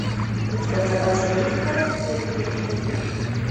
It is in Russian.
у тебя в запасе есть расцвет великих империй